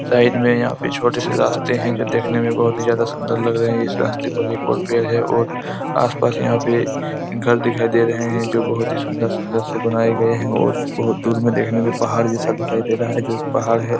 Side में यहाँ पे छोटे से रास्ते है जो देखने में बहुत ही ज्यादा सुंदर लग रहे है इस रास्ते पर एक और पेड़ है और आसपास यहाँ पे घर दिखाई दे रहे है जो बहोत सुंदर-सुंदर से बनाए गए है और बहुत दूर में देखने में पहाड़ जैसा दिखाई दे रहा है जो एक पहाड़ है।